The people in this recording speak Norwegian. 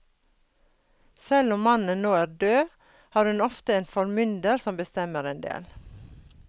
Selv om mannen nå er død har hun ofte en formynder som bestemmer en del.